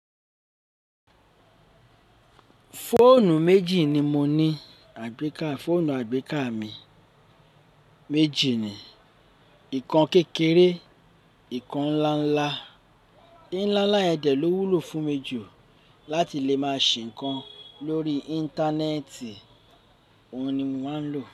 Fóònù méjì ni mo ní. Àgbéká fóònù àgbéká mi méjì ni. Nǹkan kékeré, nǹkan ńlá ńlá. Ǹlá ńlá yẹn dẹ̀ ló wúlò fún mi jù láti lè máa ṣe ǹkan lórí Íńtánẹ́ẹ̀tì, òun ni mo máa ń lò.